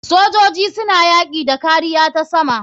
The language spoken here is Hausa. Sojojin suna yaki da kariya ta sama.